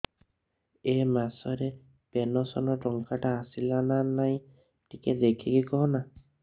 ଏ ମାସ ରେ ପେନସନ ଟଙ୍କା ଟା ଆସଲା ନା ନାଇଁ ଟିକେ ଦେଖିକି କହନା